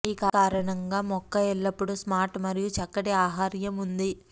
ఈ కారణంగా మొక్క ఎల్లప్పుడూ స్మార్ట్ మరియు చక్కటి ఆహార్యం ఉంది